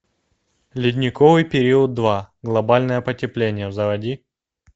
ледниковый период два глобальное потепление заводи